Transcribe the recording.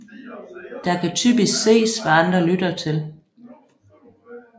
Der kan typisk ses hvad andre lytter til